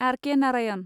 R K. Narayan